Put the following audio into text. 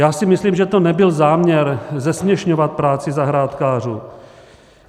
Já si myslím, že to nebyl záměr zesměšňovat práci zahrádkářů.